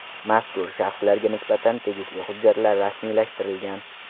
Mazkur shaxslarga nisbatan tegishli hujjatlar rasmiylashtirilgan.